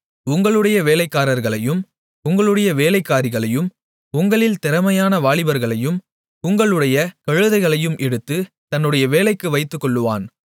உங்களுடைய வேலைக்காரர்களையும் உங்களுடைய வேலைக்காரிகளையும் உங்களில் திறமையான வாலிபர்களையும் உங்களுடைய கழுதைகளையும் எடுத்து தன்னுடைய வேலைக்கு வைத்துக்கொள்ளுவான்